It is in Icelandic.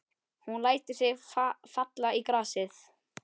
Hún lætur sig falla í grasið.